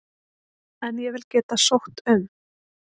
En ég vil geta sótt um.